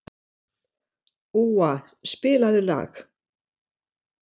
Úa, spilaðu lag.